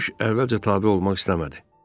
Quş əvvəlcə tabe olmaq istəmədi.